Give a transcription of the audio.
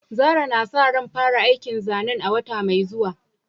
Zarah na sa ran fara aikin zanen a wata mai zuwa.